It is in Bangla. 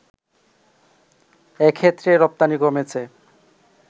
এক্ষেত্রে রপ্তানি কমেছে